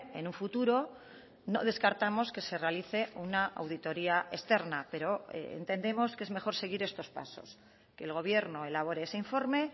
en un futuro no descartamos que se realice una auditoría externa pero entendemos que es mejor seguir estos pasos que el gobierno elabore ese informe